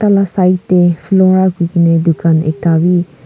tala side tey flora kuikena dukan ekta wi.